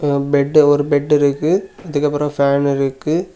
Bed ஒரு bed இருக்கு அதுக்கு அப்புறம் ஒரு ஃபேன் இருக்கு.